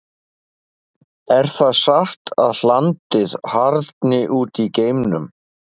Er það satt að hlandið harðni út í geimnum?